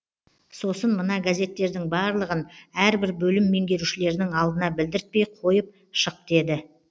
сосын мына газеттердің барлығын әрбір бөлім меңгерушілерінің алдына білдіртпей қойып шық деді